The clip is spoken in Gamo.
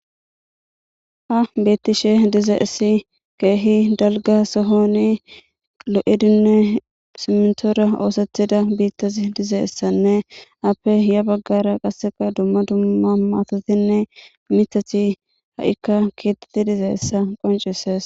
ha beettishe diza issi keehi dalga sohoni lo7idinne simetoora oosethida biittazi diza essanne appe hiya baggara qasseka dumma dumma maatotinne mitathi ha7ikka keettetti diza essa qoncises